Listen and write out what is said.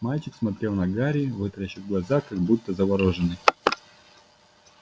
мальчик смотрел на гарри вытаращив глаза как будто заворожённый